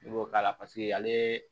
I b'o k'a la paseke ale